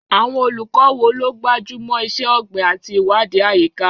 Àwọn olùkọ́ wo ló gbájú mọ́ iṣẹ́ ọ̀gbìn àti ìwádìí àyíká?